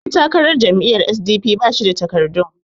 ɗantakarar jam'iyyar s.d.p ba shi da takardun